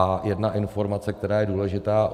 A jedna informace, která je důležitá.